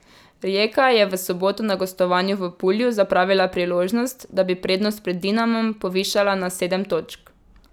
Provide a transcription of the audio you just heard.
Rijeka je v soboto na gostovanju v Pulju zapravila priložnost, da bi prednost pred Dinamom povišala na sedem točk.